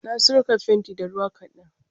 Na sirka fentin da ruwa ƙadan.